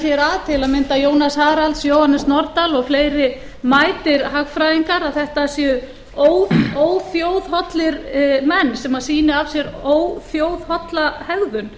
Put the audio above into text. hér að til að mynda jónas haralz jóhannes nordal og fleiri mætir hagfræðingar að þetta séu óþjóðhollir menn sem sýni af sér óþjóðholla hegðun